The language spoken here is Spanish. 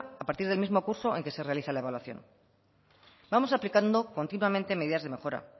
a partir del mismo curso en que se realiza la evaluación vamos aplicando continuamente medidas de mejora